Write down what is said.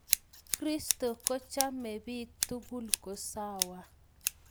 Kristo kochomech biik tukul kosawa